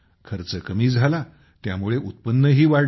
खर्च कमी झाला त्यामुळे उत्पन्नही वाढले